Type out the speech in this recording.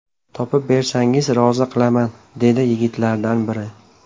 Topib bersangiz rozi qilaman, - dedi yigitlardan biri.